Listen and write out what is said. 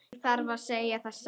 Ég segi það satt.